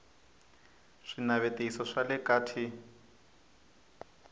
swinavetiso swa le ka t